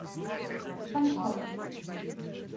панкова